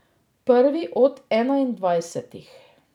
Prvi od enaindvajsetih.